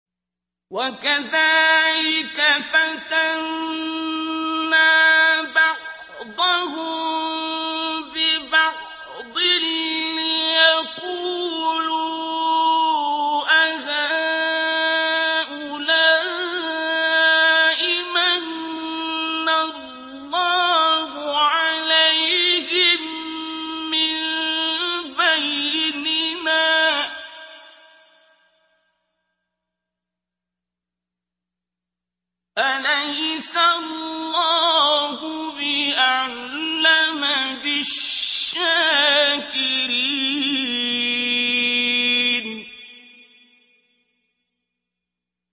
وَكَذَٰلِكَ فَتَنَّا بَعْضَهُم بِبَعْضٍ لِّيَقُولُوا أَهَٰؤُلَاءِ مَنَّ اللَّهُ عَلَيْهِم مِّن بَيْنِنَا ۗ أَلَيْسَ اللَّهُ بِأَعْلَمَ بِالشَّاكِرِينَ